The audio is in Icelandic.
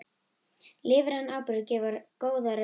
Lífrænn áburður gefur góða raun